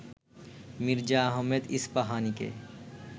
Mirza Ahmed ইস্পাহানিকে